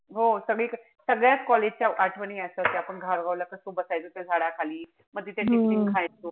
हो सगळीकडे सगळ्याच college च्या आठवणी असं कि आपण धारगाव ला कस बसायचो झाडाखाली. म तिथे tiffin खायचो.